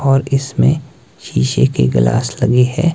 और इसमें शीशे के ग्लास लगी है।